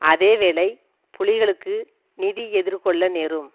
அதே வேளை புலிகளுக்கு நிதி எதிர்கொள்ள நேரும்